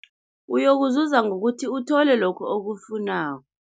Uyokuzuza ngokuthi uthole lokhu okufunako.